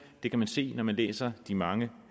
det kan man se når man læser de mange